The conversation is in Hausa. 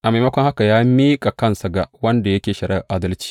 A maimakon haka, ya miƙa kansa ga wanda yake shari’ar adalci.